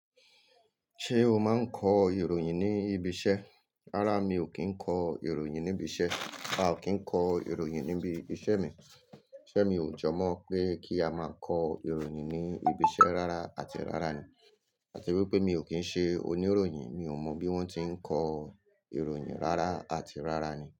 Ṣé o máa ń kọ ìròyìn ní ibi iṣẹ́? Rárá, mi ò kí ń kọ ìròyìn níbi iṣẹ́. A ò kí ń kọ ìròyìn níbi iṣẹ́ mi. Isé mi ò jọ mọ̀ pé kí a máa kọ ìròyìn ní ibi iṣẹ́ rárá àti rárá ni. Àti wípé mi ò kí ń ṣe oníròyìn, mi ò mọ bí wón ti ń kọ ìròyìn rárá àti rárá ni.